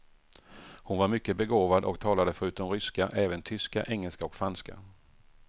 Hon var mycket begåvad och talade förutom ryska, även tyska, engelska och franska.